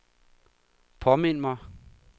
påmind mig